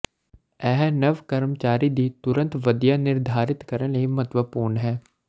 ਇਹ ਨਵ ਕਰਮਚਾਰੀ ਦੀ ਤੁਰੰਤ ਵਧੀਆ ਨਿਰਧਾਰਿਤ ਕਰਨ ਲਈ ਮਹੱਤਵਪੂਰਨ ਹੈ